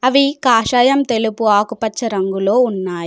అవి కాషాయం తెలుపు ఆకుపచ్చ రంగులో ఉన్నాయి.